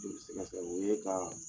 Joli sɛgɛ sɛgɛ o ye kaa